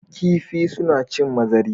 Kifi su na cin mazari